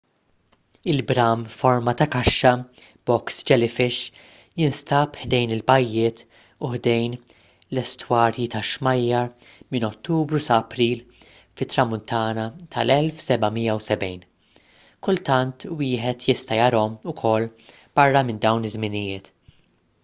il-bram forma ta’ kaxxa box jellyfish” jinstab ħdejn il-bajjiet u ħdejn l-estwarji tax-xmajjar minn ottubru sa april fit-tramuntana tal-1770. kultant wieħed jista’ jarahom ukoll barra minn dawn iż-żminijiet